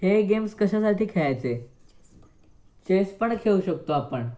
हे गेम कशासाठी खेळायचे? चेस पण खेळू शकतो आपण?